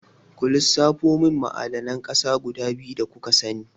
Ku lissafo mun ma'adanan ƙasa guda biyu da kuka sani?